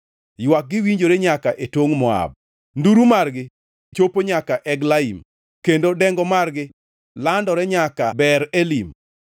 Ywakgi winjore nyaka e tongʼ Moab, nduru margi chopo nyaka Eglaim, kendo dengo margi landore nyaka Beer Elim.